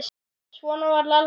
Svona var Lalli Sig.